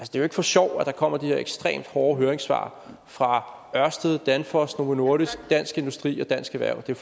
jo ikke for sjov at der kommer de her ekstremt hårde høringssvar fra ørsted danfoss novo nordisk dansk industri og dansk erhverv det er